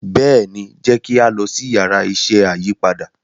béèni jẹ ki a lọ si Yàrá iṣẹ́ ayípadà.